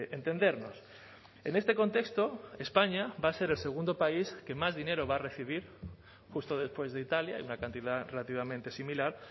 entendernos en este contexto españa va a ser el segundo país que más dinero va a recibir justo después de italia y una cantidad relativamente similar